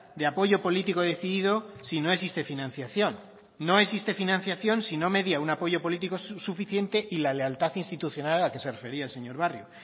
de apoyo político decidido si no existe financiación no existe financiación si no media un apoyo político suficiente y la lealtad institucional a que se refería el señor barrio